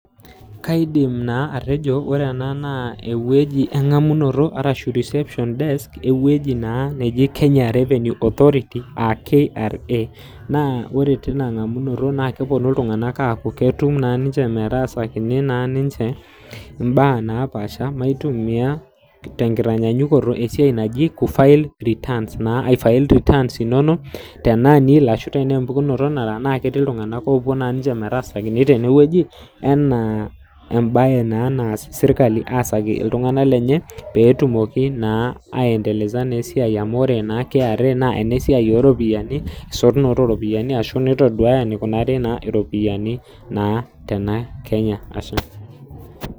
Kaidim naa atejo wore ena naa ewoji engamunoto arashu reception desks ,ewoji naa naji Kenya Revenue Authority, aa KRA. Naa wore tenia ngamunoto naa keponu iltunganak aaku ketum naa ninche metaasakini naa ninche imbaa naapaasha, maitumia tenkitanyanyukoto esiai naji ku file returns naa ai file returns inonok tenaa nil arashu tenaa empukunoto nara naa ketii iltunganak oopuo naa ninche metaasakini tenewoji enaa embaye naa naas serkali aasaki iltunganak lenye, peetumoki naa ai endeleza naa esiai amu wore naa kra naa enesiai ooropiyiani, esotunoto ooropiyiani ashu naa itaduaya enikunari naa iropiyani naa tenakenya ashe.